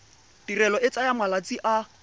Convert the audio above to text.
tirelo e tsaya malatsi a